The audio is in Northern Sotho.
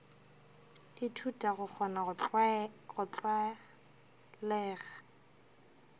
ithuta go kgona go tlwalega